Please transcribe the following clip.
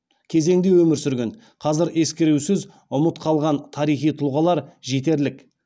кезеңде өмір сүрген қазір ескерусіз ұмыт қалған тарихи тұлғалар жетерлік